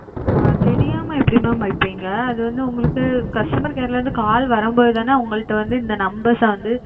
தெரியாம எப்படி mam இருப்பிங்க அது வந்து உங்களுக்கு customer care ல இருந்து call வரும்போது தான உங்கள்ட இந்த numbers ஆஹ் வந்து இது